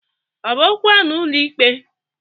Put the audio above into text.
Ọ bụ okwu a n'ụlọikpe?